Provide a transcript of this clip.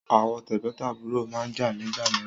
Àwọn tẹ́gbọ́ntàbúrò máa ń jà nígbà mìíràn.